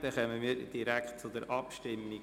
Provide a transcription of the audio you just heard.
Wir kommen direkt zur Abstimmung.